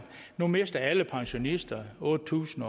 nu mister alle pensionister otte tusind